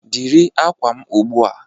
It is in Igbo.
Dịrị akwa m ugbu a!